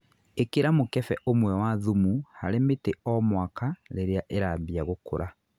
Īkĩra mũkefe ũmwe wa thumu harĩ mĩtĩ o mwaka rĩrĩa ĩrambia gũkũra